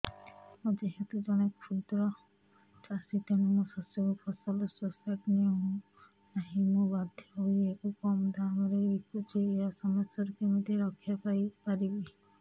ମୁଁ ଯେହେତୁ ଜଣେ କ୍ଷୁଦ୍ର ଚାଷୀ ତେଣୁ ମୋ ଶସ୍ୟକୁ ଫସଲ ସୋସାଇଟି ନେଉ ନାହିଁ ମୁ ବାଧ୍ୟ ହୋଇ ଏହାକୁ କମ୍ ଦାମ୍ ରେ ବିକୁଛି ଏହି ସମସ୍ୟାରୁ କେମିତି ରକ୍ଷାପାଇ ପାରିବି